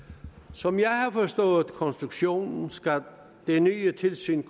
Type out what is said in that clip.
som jeg har forstået konstruktionen skal det nye tilsyn